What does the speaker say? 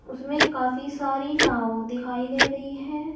उसमें काफी सारी नाव दिखाई दे रही है।